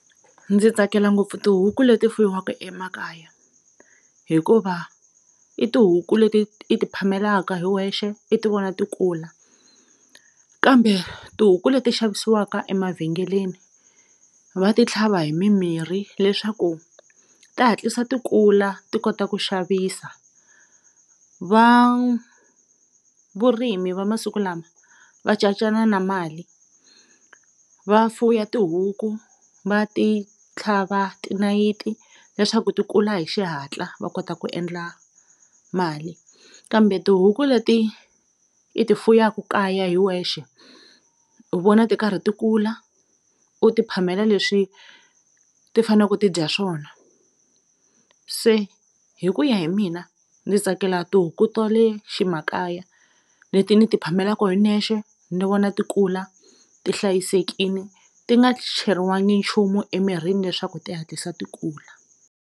Ndzi tsakela ngopfu tihuku leti fuyiwaka emakaya hikuva i tihuku leti i ti phamelaka hi wexe i ti vona ti kula kambe tihuku leti xavisiwaka emavhengeleni va ti tlhava hi mimirhi leswaku ti hatlisa ti kula ti kota ku xavisa va vurimi va masiku lama va cacana na mali va fuya tihuku va ti tlhava tinayiti leswaku tikula hi xihatla va kota ku endla mali kambe tihuku leti i ti fuyaka kaya hi wexe u vona ti karhi ti kula u ti phamela leswi ti fane ku ti dya swona se hi ku ya hi mina ni tsakela tihuku ta le ximakaya leti ni ti phamelaku hi nexe ni vona ti kula ti hlayisekini ti nga cheriwangi nchumu emirini leswaku ti hatlisa ti kula.